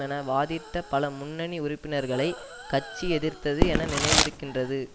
என வாதிட்ட பல முன்னணி உறுப்பினர்களை கட்சி எதிர்த்தது எனக்கு நினைவிருக்கின்றது